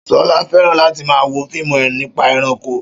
Ṣọlá fẹ́ràn láti máa wo fíìmù nípa ẹranko